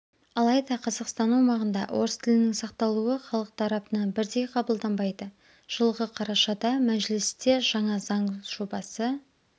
алайда қазақстан аумағында орыс тілінің сақталуы халық тарапынан бірдей қабылданбайды жылғы қарашада мәжілісте жаңа заң жобасы